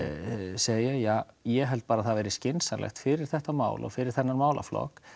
segja ja ég held bara að það væri skynsamlegt fyrir þetta mál og fyrir þennan málaflokk